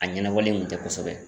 A ɲɛnabɔlen kun tɛ kosɛbɛ.